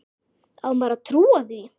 Á maður að trúa því?